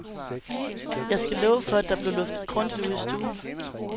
Jeg skal love for at der blev luftet grundigt ud i stuen.